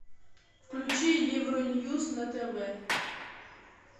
включи евро ньюс на тв